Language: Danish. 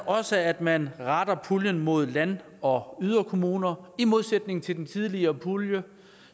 også at man retter puljen mod land og yderkommuner i modsætning til den tidligere pulje